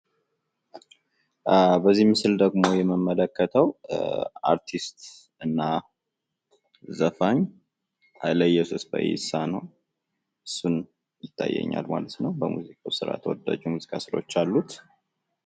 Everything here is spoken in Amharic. በዚህ ምስል ደሞ የምመለከተው አርቲስትና ዘፋኝ ሀይለየሱስ ፈይሳ ነው። እሱን ይታዬኛል ማለት ነው በሙዚቃ ተወዳጅ የሙዚቃ ስራዎች አሉት።